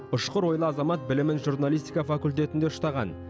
ұшқыр ойлы азамат білімін журналистика факультетінде ұштаған